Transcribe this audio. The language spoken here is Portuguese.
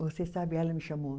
Você sabe, ela me chamou.